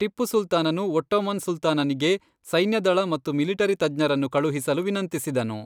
ಟಿಪ್ಪು ಸುಲ್ತಾನನು ಒಟ್ಟೋಮನ್ ಸುಲ್ತಾನನಿಗೆ ಸೈನ್ಯದಳ ಮತ್ತು ಮಿಲಿಟರಿ ತಜ್ಞರನ್ನು ಕಳುಹಿಸಲು ವಿನಂತಿಸಿದನು.